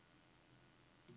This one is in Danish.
Mojave